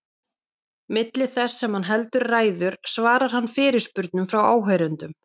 Milli þess sem hann heldur ræður svarar hann fyrirspurnum frá áheyrendum.